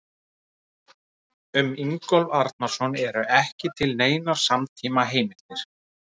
Um Ingólf Arnarson eru ekki til neinar samtímaheimildir.